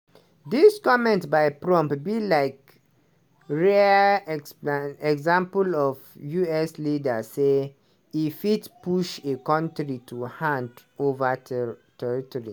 dis comment by prump be like rare expla example of us leader say e fit push a country to hand ova teriterritory.